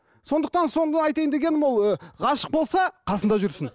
сондықтан соны айтайын дегенім ол ы ғашық болса қасында жүрсін